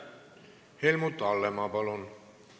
Helmut Hallemaa, palun!